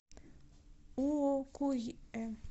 уокуйэ